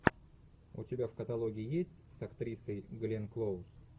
у тебя в каталоге есть с актрисой гленн клоуз